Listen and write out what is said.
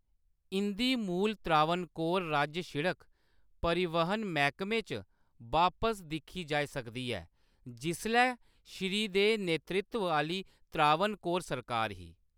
इंʼदी मूल त्रावणकोर राज्य सिड़क परिवहन मैह्‌‌‌कमे च बापस दिक्खी जाई सकदी ऐ, जिसलै श्री दे नेतृत्व आह्‌‌‌ली त्रावणकोर सरकार ही।